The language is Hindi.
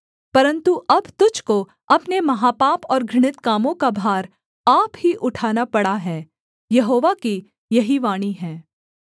परन्तु अब तुझको अपने महापाप और घृणित कामों का भार आप ही उठाना पड़ा है यहोवा की यही वाणी है